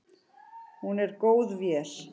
Hún er góð vél.